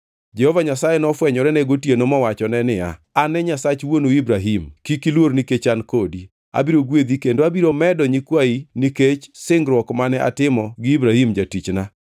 Jehova Nyasaye nofwenyore ne gotieno mowachone niya, “An e Nyasach wuonu Ibrahim. Kik iluor nikech an kodi; abiro gwedhi kendo abiro medo nyikwayi nikech singruok mane atimo gi Ibrahim jatichna.”